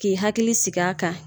K'i hakili sigi a kan.